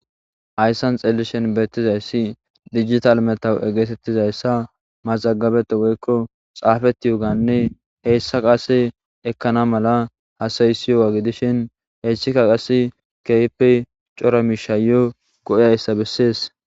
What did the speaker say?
hayssan xellishin beettizayssi dijital metawu egeetettizayssa mazagabeta woykko xaafeti yo ganne heyssa qase ekkana mala hasayisiyoga gidishin heyssika qass keehipe cora mishayo go'e hayssa bessees